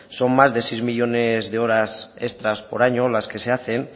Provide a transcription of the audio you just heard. son más de seis millónes de horas extra por año las que se hacen